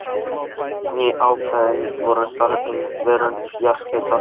Ný ákvæði voru þar um verndun jarðhitasvæða.